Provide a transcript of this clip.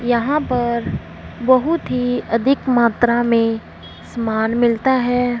यहां पर बहुत ही अधिक मात्रा में समान मिलता है।